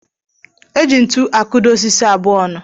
Eji ntu akudo osisi abụọ ọnụ.